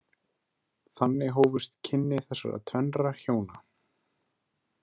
Þannig hófust kynni þessara tvennra hjóna.